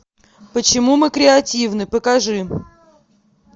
почему мы креативны покажи